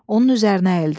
Onun üzərinə əyildi.